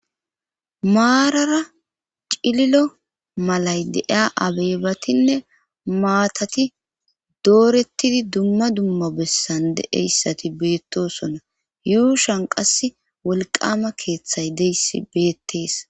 maarara cililo malay deiya abeebatinne maatati doorettidi dumma dumma bessande eyssati beettosona yuushan qass wolqama keeththay deyssi beettees